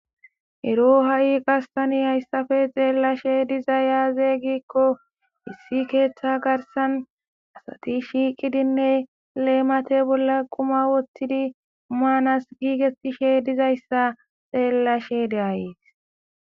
Ero hayi qasseka tan hayissape xellashe dizay aaze gikko issi keththa garissan asati shiqidine lemate bolla quma wottidi manasi gigettishe dizayissa xellashe de'aysi.